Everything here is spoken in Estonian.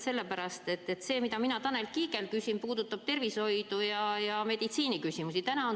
Selline märkus lihtsalt, et see, mida ma Tanel Kiigelt küsin, puudutab tervishoidu ja meditsiiniküsimusi.